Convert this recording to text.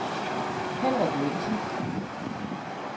Henrik Mikkelsen